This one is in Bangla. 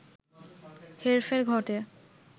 হেরফের ঘটে